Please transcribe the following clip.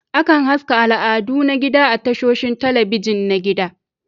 Akan haska al'adu na gida a tashoshin talabijin na gida